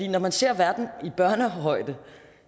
når man ser verden i børnehøjde